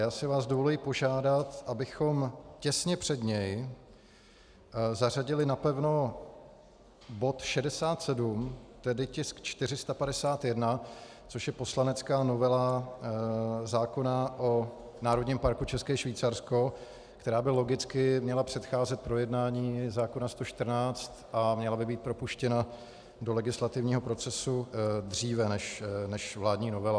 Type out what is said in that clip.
Já si vás dovoluji požádat, abychom těsně před něj zařadili napevno bod 67, tedy tisk 451, což je poslanecká novela zákona o Národním parku České Švýcarsko, která by logicky měla předcházet projednání zákona 114 a měla by být propuštěna do legislativního procesu dříve než vládní novela.